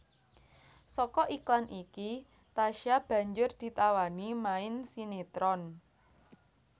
Saka iklan iki Tasya banjur ditawani main sinetron